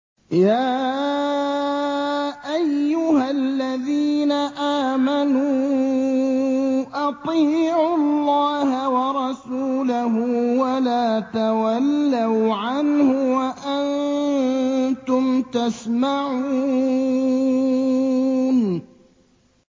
يَا أَيُّهَا الَّذِينَ آمَنُوا أَطِيعُوا اللَّهَ وَرَسُولَهُ وَلَا تَوَلَّوْا عَنْهُ وَأَنتُمْ تَسْمَعُونَ